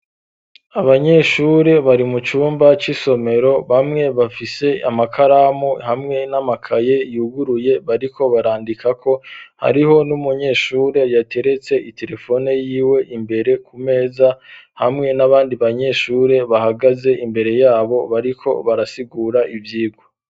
Abanyeshure bari mu cumba c'isomero bamwe bafise amakaramu hamwe n'amakaye yuguruye bariko barandikako hariho n'umunyeshure yateretse iterefone yiwe imbere ku meza hamwe n'abandi banyeshure bahagaze imbere yabo bariko barasigura ivyirwa